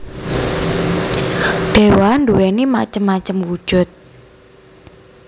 Dewa nduwéni macem macem wujud